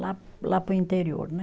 Lá, lá para o interior, né?